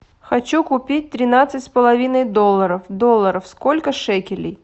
хочу купить тринадцать с половиной долларов долларов сколько шекелей